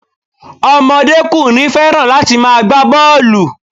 Omodékùnrin fẹ́ràn láti ma gbá bọ́ọ̀lù